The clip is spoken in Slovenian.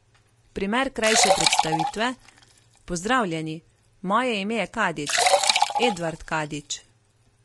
Primer krajše predstavitve: 'Pozdravljeni, moje ime je Kadič, Edvard Kadič.